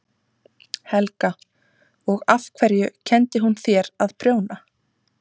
Helga: Og af hverju kenndi hún þér að prjóna?